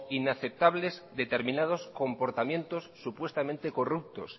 inaceptables determinados comportamientos supuestamente corruptos